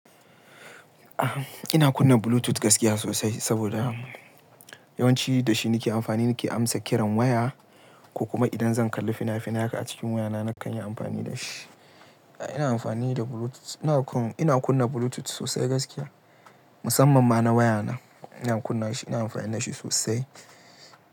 Ina kunna Bluetooth gaskiya sosai saboda yawanci da shi nake amfani nake amsa kiran waya ko kuma idan zan kalli fina-finai haka a cikin wayana nakan yi amfani da shi. Ina amfani da Bluetooth, ina kunna Bluetooth sosai gaskiya, musamman ma na wayana. Ina kunna shi, ina amfani da shi sosai.